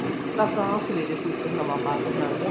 ਤਾਂ ਸਵੇਰੇ suit ਨਵਾਂ ਪਾਕੇ ਜਾਣਗੀਆ